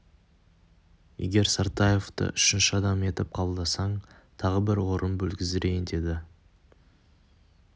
егер сартаевты үшінші адам етіп кафедраңа қабылдасаң тағы бір орын бөлгіздірейін деді